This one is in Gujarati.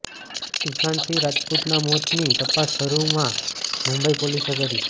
સુશાંત સિંહ રાજપૂતના મોતની તપાસ શરૂમાં મુંબઈ પોલિસે કરી